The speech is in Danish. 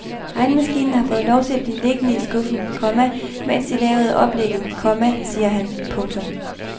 Regnemaskinen har fået lov at blive liggende i skuffen, komma mens de lavede oplægget, komma siger han. punktum